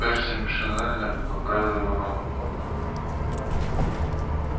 перси машинально поправил его рон